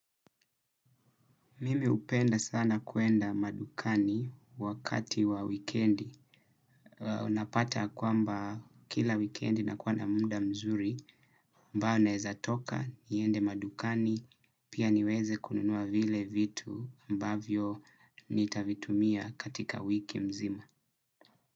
Mimi hupenda sana kuenda madukani wakati wa wikendi. Unapata ya kwamba kila wikendi nakuwa na muda mzuri ambayo naeza toka niende madukani pia niweze kununua vile vitu ambavyo nitavitumia katika wiki mzima.